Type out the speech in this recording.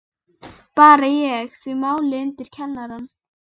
Bar ég því málið undir kennarann.